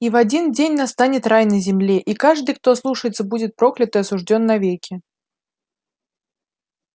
и в один день настанет рай на земле и каждый кто ослушается будет проклят и осуждён навеки